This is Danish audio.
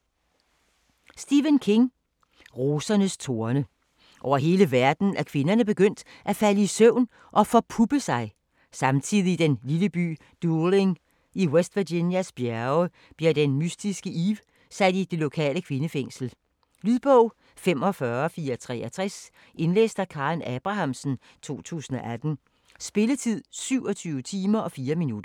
King, Stephen: Rosernes torne Over hele verden er kvinderne begyndt at falde i søvn og forpuppe sig. Samtidig i den lille by Dooling i West Virginias bjerge bliver den mystiske Eve sat i det lokale kvindefængsel. Lydbog 45463 Indlæst af Karen Abrahamsen, 2018. Spilletid: 27 timer, 4 minutter.